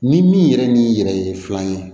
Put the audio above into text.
Ni min yɛrɛ ni yɛrɛ ye filan ye